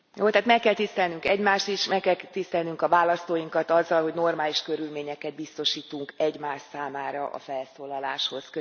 Tehát meg kell tisztelnünk egymást is, meg kell tisztelnünk a választóinkat azzal, hogy normális körülményeket biztosítunk egymás számára a felszólaláshoz.